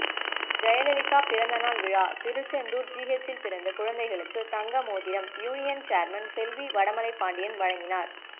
ஜெயலலிதா பிறந்த நாள் விழா திருச்செந்தூர் ஜிஹெச்சில் பிறந்த குழந்தைகளுக்கு தங்கமோதிரம் யூனியன் சேர்மன் செல்வி வடமலைபாண்டியன் வழங்கினார்